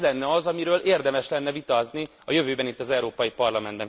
Ez lenne az, amiről érdemes lenne vitázni a jövőben itt, az Európai Parlamentben!